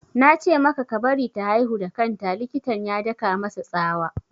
Na ce maka ka bari ta haihu da kan ta! Likitan ya daka masa tsawa